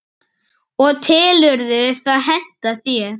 og telurðu það henta þér?